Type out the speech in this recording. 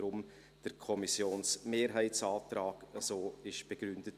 Deshalb wurde der Kommissionsmehrheitsantrag so begründet.